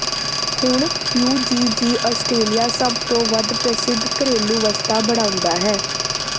ਹੁਣ UGG Australia ਸਭ ਤੋਂ ਵੱਧ ਪ੍ਰਸਿੱਧ ਘਰੇਲੂ ਵਸਤਾਂ ਬਣਾਉਂਦਾ ਹੈ